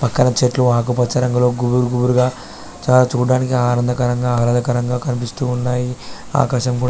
పక్కన చెట్లు ఆకుపచ్చ రంగులు గుంపులు గుంపులుగా ఉన్నాయి చూడటానికి చాల ఆహ్లాదకరంగ ఉన్నదీ--.